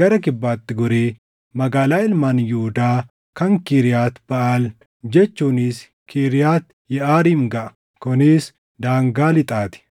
gara kibbaatti goree magaalaa ilmaan Yihuudaa kan Kiriyaati Baʼaal jechuunis Kiriyaati Yeʼaariim gaʼa. Kunis daangaa lixaa ti.